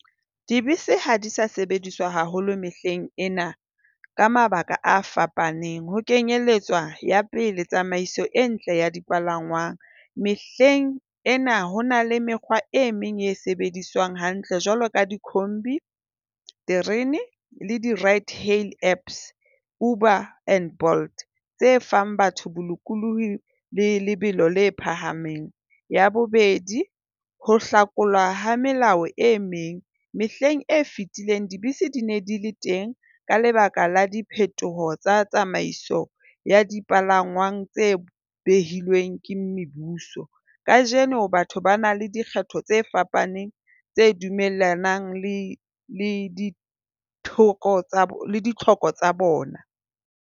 Dibese ha di sa sebediswa haholo mehleng ena ka mabaka a fapaneng. Ho kenyelletswa ya pele, tsamaiso e ntle ya dipalangwang. Mehleng ena ho na le mekgwa e meng e sebediswang hantle jwalo ka dikhombi, terene le di Right Hale Apps Uber and Blot. Tse fang batho bolokolohi le lebelo le phahameng. Ya bobedi, ho hlakolwa ha melao e meng. Mehleng e fetileng dibese di ne di le teng ka lebaka la diphetoho tsa tsamaiso ya dipalangwang tse behilweng ke mebuso. Kajeno batho ba na le dikgetho tse fapaneng tse dumellanang le le ditlhoko le di ditlhoko tsa bona.